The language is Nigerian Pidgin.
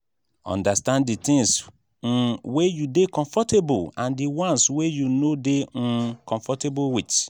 understand di things um wey you dey comfortable and di ones wey you no dey um comfortable with